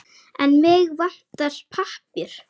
En mig vantar pappír.